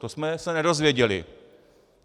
To jsme se nedozvěděli.